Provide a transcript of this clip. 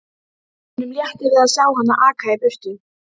Honum létti við að sjá hana aka í burtu.